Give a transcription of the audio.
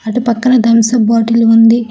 అటు పక్కన Thums Up bottle ఉంది.